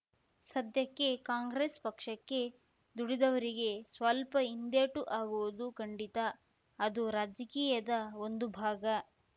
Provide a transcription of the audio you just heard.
ಸದ್ಯಕ್ಕೆ ಕಾಂಗ್ರಸ್‌ ಪಕ್ಷಕ್ಕೆ ದುಡಿದವರಿಗೆ ಸ್ವಲ್ಪ ಹಿಂದೇಟು ಆಗುವುದು ಖಂಡಿತ ಅದು ರಾಜಕೀಯದ ಒಂದು ಭಾಗ